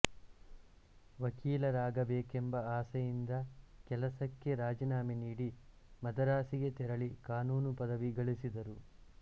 ವಕೀಲರಾಗಬೇಕೆಂಬ ಆಸೆಯಿಂದ ಕೆಲಸಕ್ಕೆ ರಾಜೀನಾಮೆ ನೀಡಿ ಮದರಾಸಿಗೆ ತೆರಳಿ ಕಾನೂನು ಪದವಿ ಗಳಿಸಿದರು